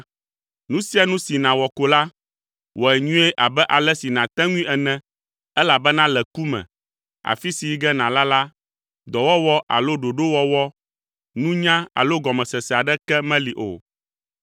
Nu sia nu si nàwɔ ko la, wɔe nyuie abe ale si nàte ŋui ene elabena le ku me, afi si yi ge nàla la, dɔwɔwɔ alo ɖoɖowɔwɔ, nunya alo gɔmesese aɖeke meli o.